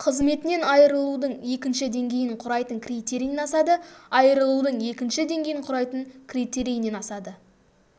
қызметінен айырылудың екінші деңгейін құрайтын критерийінен асады айырылудың екінші деңгейін құрайтын критерийінен асады